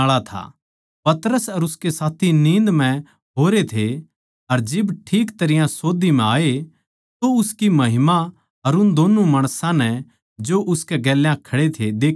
पतरस अर उसके साथी नींद म्ह होरे थे अर जिब ठीक तरियां सोध्दी म्ह आए तो उसकी महिमा अर उन दो माणसां नै जो उसकै गेल्या खड़े थे देख्या